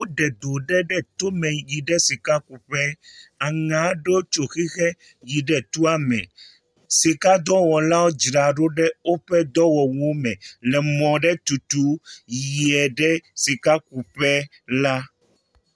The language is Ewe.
Woɖe do aɖe ɖe tome yi ɖe sika kuƒe. Aŋe aɖe tso xixe yi ɖe toa me. Sika dɔwɔlawo dzraɖo ɖe woƒe dɔwɔwuwo me le mɔ aɖe tutum yie ɖe sikakuƒe la.